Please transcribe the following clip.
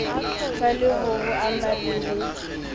tlaleho ho ama le ho